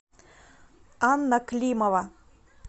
анна климова